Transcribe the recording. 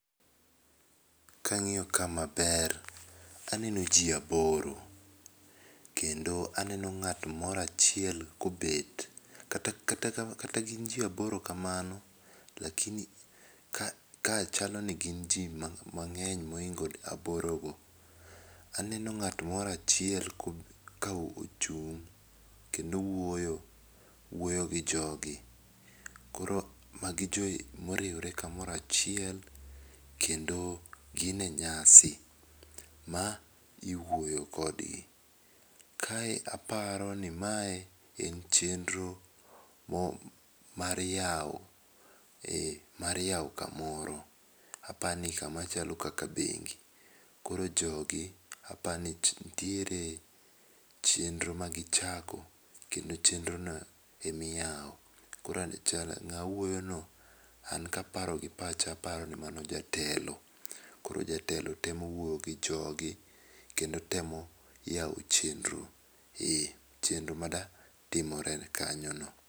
Ka angiyo ka maber to aneno jii aboro kendo aneno ng'at moro achiel kobet. Kata gin jii aboro ka mano lakini kae chal ni gin nitie ji mangeny ma oingo aboro go. Aneno ng'at moro achiel ka ochung kendo wuoyo, wuoyo gi jogi koro ma gi ji ma oriwore ka moro achiel kendo gin e nyasi ma iwuoyo kod gi. Kae aparo ni mae en chenro mar yawo ,mar yawo kamoro, apani ka ma chalo kaka bengi. Koro jo gi apani nitiere chenro ma gi chako kendo chendro no e ma iyawo. Koro ng'ama wuoyo no an ka paro gi pacha aparo ni mano jatelo, koro jatelo temo wuoyo gi jogi kendo temo yawo chenro. Chenro ma dwa timore kanyo no.